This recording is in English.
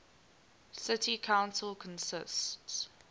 city council consists